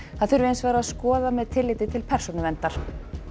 það þurfi hins vegar að skoða með tilliti til persónuverndar